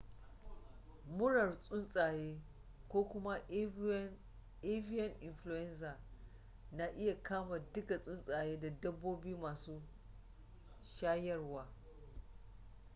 murar tsuntsaye ko kuma avian influenza na iya kama duka tsuntsaye da dabbobi masu shayarwa